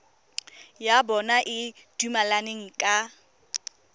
ya bona e dumelaneng ka